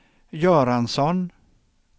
Göransson